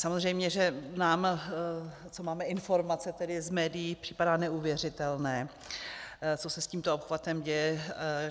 Samozřejmě že nám, co máme informace tedy z médií, připadá neuvěřitelné, co se s tímto obchvatem děje.